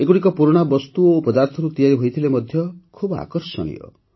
ଏଗୁଡ଼ିକ ପୁରୁଣା ବସ୍ତୁ ଓ ପଦାର୍ଥରୁ ତିଆରି ହୋଇଥିଲେ ମଧ୍ୟ ଖୁବ ଆକର୍ଷଣୀୟ